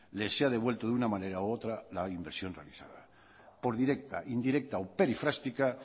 les sea devuelto de una manera u otra la inversión realizada por directa indirecta o perifrástica